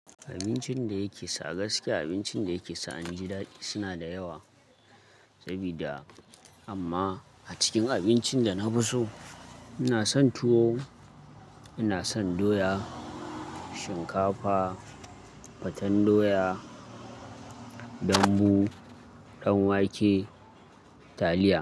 Abincin da yake sa gaskiya, abincin da yake sa in ji daɗi suna da yawa sabida amma a cikin abincin da na fi so, ina son tuwo, ina son doya, shinkafa, faten doya, dambu, danwake, taliya.